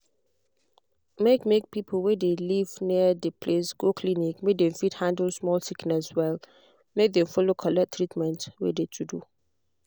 make make people wey de live near de place go clinic make dem fit handle small sickness well make dem follow collect treatment wey to do.